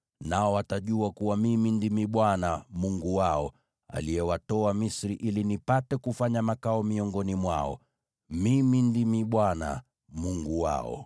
Nao watajua kuwa Mimi Ndimi Bwana Mungu wao, aliyewatoa Misri ili nipate kufanya makao miongoni mwao. Mimi Ndimi Bwana Mungu wao.